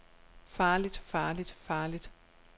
farligt farligt farligt